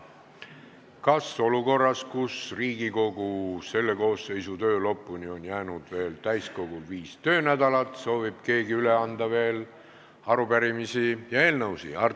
Kas olukorras, kus Riigikogu selle koosseisu töö lõpuni on jäänud täiskogu viis töönädalat, soovib keegi veel üle anda arupärimisi ja eelnõusid?